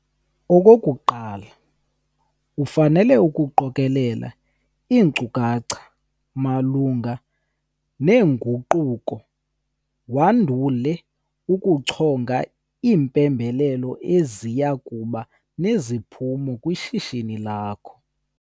Okokuqala, ufanele ukuqokelela iinkcukacha malunga neenguquko wandule ukuchonga iimpembelelo eziya kuba neziphumo kwishishini lakho.